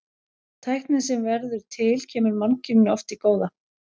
Tæknin sem verður til kemur mannkyninu oft til góða.